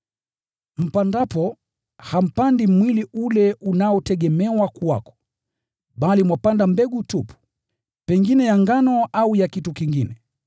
Mpandapo, hampandi mwili ule utakao kuwa, bali mwapanda mbegu tu, pengine ya ngano au ya kitu kingine.